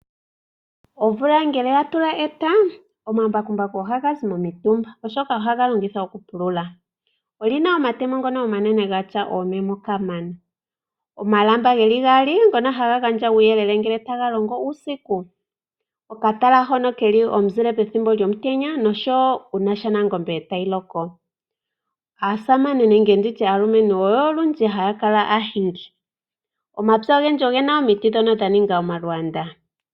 Omvula ngele ya tula eta omambakumbaku ohaga zi momitumba oshoka ohaga longithwa okupulula. Olina omatemo ngono omanene gatya oomemo kamana. Omalamba geli gaali ngono haga gandja uuyelele ngele taga longo uusiku, okatala hono keli omuzile pethimbo lyomutenya noshowo uuna shaNangombe tayi loko. Aasamane nenge nditye aalumentu oyo olundji haya kala aahingi. Omapya ogendji ogena omiti ndhono dha ninga omalwaanda.